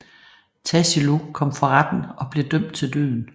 Tassilo kom for retten og blev dømt til døden